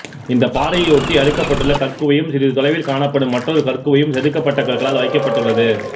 இந்த பாறையை ஒட்டி அடுக்கப்பட்டுள்ள கற்குவையும் சிறிது தொலைவில் காணப்படும் மற்றொரு கற்குவையும் செதுக்கப்பட்ட கற்களால் வைக்கப்பட்டுள்ளது